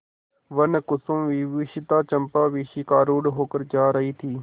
वनकुसुमविभूषिता चंपा शिविकारूढ़ होकर जा रही थी